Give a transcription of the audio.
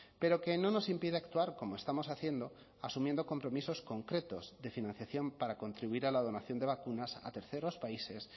pero que no nos impide actuar como estamos haciendo asumiendo compromisos concretos de financiación para contribuir a la donación de vacunas a terceros países